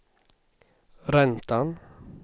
räntan